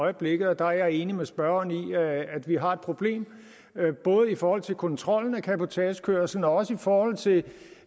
øjeblikket og der er jeg enig med spørgeren i at vi har et problem både i forhold til kontrollen af cabotagekørslen og i forhold til